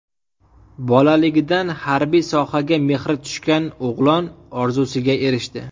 Bolaligidan harbiy sohaga mehri tushgan o‘g‘lon orzusiga erishdi.